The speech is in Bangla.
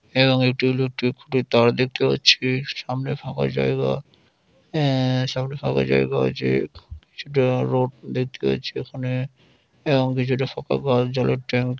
এবং একটি ইলেকট্রিক খুঁটির তার দেখতে পাচ্ছি সামনে ফাঁকা জায়গা এ্যা সামনে ফাঁকা জায়গা আছে কিছুটা রোড দেখতে পাচ্ছি ওখানে এবং কিছুটা ফাঁকা জলের ট্যাঙ্ক--